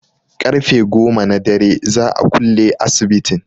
Ƙarfe goma na dare za'a kulle asibitin